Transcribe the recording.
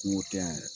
Kungo tɛ yan